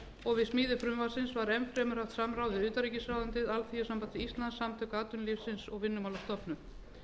og við smíði frumvarpsins var enn fremur haft samráð við utanríkisráðuneytið alþýðusamband íslands samtök atvinnulífsins og vinnumálastofnun